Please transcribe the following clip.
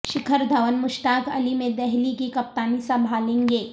شکھر دھون مشتاق علی میں دہلی کی کپتانی سنبھالیں گے